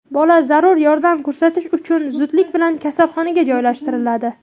Bola zarur yordam ko‘rsatish uchun zudlik bilan kasalxonaga joylashtiriladi.